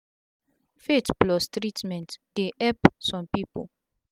faith plus treatment dey epp sum pipu